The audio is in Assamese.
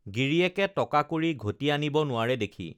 গিৰিয়েকে টকা কড়ি ঘটি আনিব নোৱাৰে দেখি